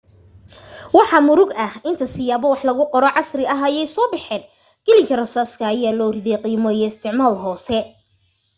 maxaa murug ah inta siyaabo wax lagu qoro casri ah ay soo baxeen qalin rasaaska ayaa loo riday qiimo iyo isticmaal hoose